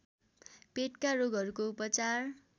Petka रोगहरूको उपचार